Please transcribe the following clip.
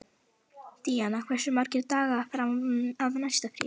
Díanna, hversu margir dagar fram að næsta fríi?